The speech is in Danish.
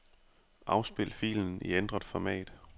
Afspil filen i ændret format.